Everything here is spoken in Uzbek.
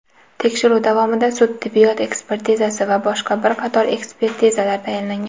Tekshiruv davomida sud-tibbiyot ekspertizasi va boshqa bir qator ekspertizalar tayinlangan.